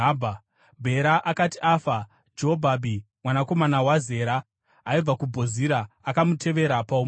Bhera akati afa, Jobhabhi, mwanakomana waZera, aibva kuBhozira akamutevera paumambo.